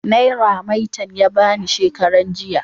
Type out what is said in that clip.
Naira maitan ya ba ni shekaran jiya.